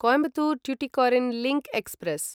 Coimbatore Tuticorin link express